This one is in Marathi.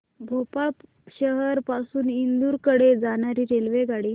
भोपाळ शहर पासून इंदूर कडे जाणारी रेल्वेगाडी